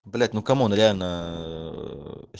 блять ну кому он реально